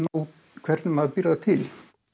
út hvernig maður býr það til